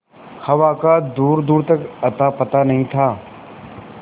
हवा का दूरदूर तक अतापता नहीं था